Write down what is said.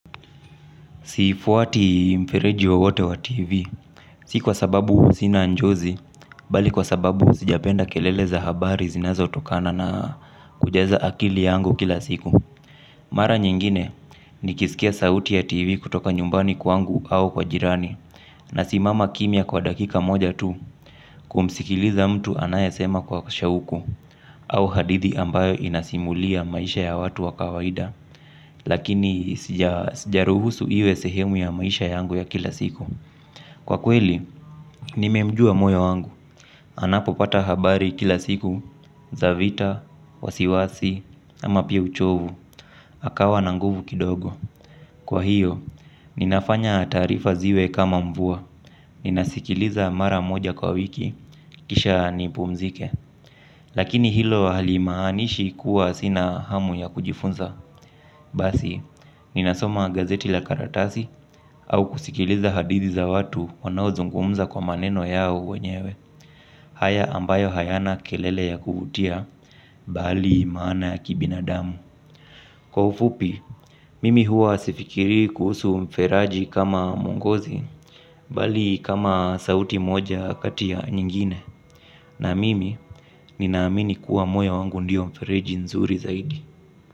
Sifuati mfereji wo wote wa TV, si kwa sababu sinanjozi, bali kwa sababu sijapenda keleleza habari zinazo tokana na kujaza akili yangu kila siku. Mara nyingine ni kisikia sauti ya TV kutoka nyumbani kwangu au kwa jirani, na simama kimia kwa dakika moja tu kumsikiliza mtu anayasema kwa shauku, au hadithi ambayo inasimulia maisha ya watu wakawaida. Lakini sijaruhusu iwe sehemu ya maisha yangu ya kila siku. Kwa kweli, nimemjua moyo wangu. Anapo pata habari kila siku zavita, wasiwasi, ama pia uchovu. Akawa nanguvu kidogo. Kwa hiyo, ninafanya taarifa ziwe kama mvua. Ninasikiliza mara moja kwa wiki. Kisha nipumzike. Lakini hilo halimahanishi kuwa sina hamu ya kujifunza. Basi, ninasoma gazeti la karatasi au kusikiliza hadithi za watu wanao zungumza kwa maneno yao wenyewe. Haya ambayo hayana kelele ya kuvutia, bali maana ya kibinadamu. Kwaufupi, mimi hua sifikiri kusu mferaji kama mwongozi, bali kama sauti moja katiya nyingine. Na mimi, ninaamini kuwa moyo wangu ndiyo mfereji nzuri zaidi.